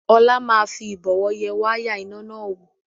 Ọlá máa fi Ìbọ̀wọ́ yẹ wáyà iná náà wò